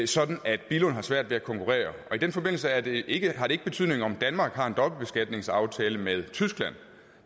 sådan at billund har svært ved at konkurrere i den forbindelse har det ikke ikke betydning om danmark har en dobbeltbeskatningsaftale med tyskland